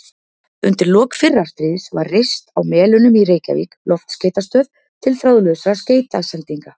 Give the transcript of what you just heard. Undir lok fyrra stríðs var reist á Melunum í Reykjavík loftskeytastöð til þráðlausra skeytasendinga.